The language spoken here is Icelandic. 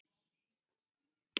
Hún gerði hvern dag betri.